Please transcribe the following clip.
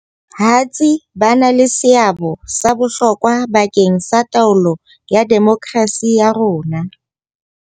Hatsi ba na le seabo sa bohlokwa ba keng sa taolo ya demokrasi ya rona.